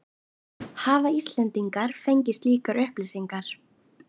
Hafa Íslendingar fengið slíkar upplýsingar?